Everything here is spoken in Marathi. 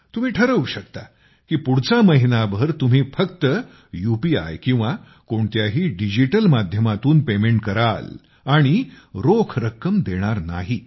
तुम्ही ठरवू शकता की पुढचा महिनाभर तुम्ही फक्त यूपीआय किंवा कोणत्याही डिजिटल माध्यमातून पेमेंट कराल आणि रोख रक्कम देणार नाही